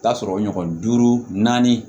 Taa sɔrɔ ɲɔgɔn duuru naani